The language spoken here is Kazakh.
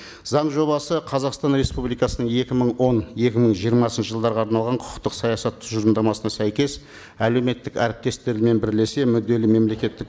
заң жобасы қазақстан республикасының екі мың он екі мың жиырмасыншы жылдарға арналған құқықтық саясат тұжырымдамасына сәйкес әлеуметтік әріптестермен бірлесе мүдделі мемлекеттік